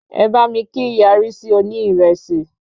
Ẹ bá mi kí ìyá Rísí oní ìrẹsì